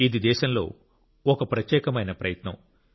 ఇది దేశంలో ఒక ప్రత్యేకమైన ప్రయత్నం